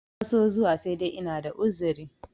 na so zuwa sai dai ina da uzuri